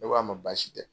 Ne ko a ma baasi tɛ